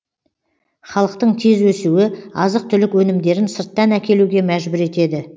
халықтың тез өсуі азық түлік өнімдерін сырттан әкелуге мәжбүр етеді